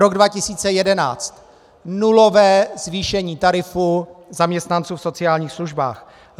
Rok 2011 - nulové zvýšení tarifů zaměstnanců v sociálních službách.